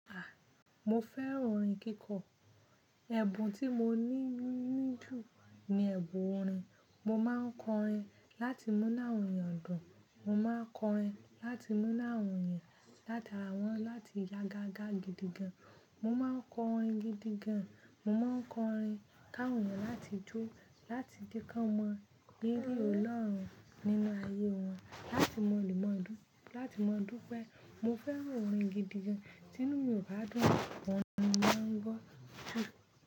A! Mo fẹ́ràn orin kíkọ. Ẹ̀bùn tí mo ní jù ní ẹ̀bùn orin. Mo máa ń kọ orin láti mú nu àwọn èèyàn dùn. Mo máa ń kọ orin láti mú nu áwọn èèyàn látàrá wọn, láti yága ga gidigan. Mo máa ń kọ orin gidigan. Mo máa ń kọ orin káwọn láti jó, láti je lkàn mọ́ rírí Ọlọ́run nínú ayé wọn, láti mọlimọlú, láti mọ dúpe. Mo fẹ́ràn orin gidigan. Tínú mi o ba dùn, orin ni mo máa ń gbọ́.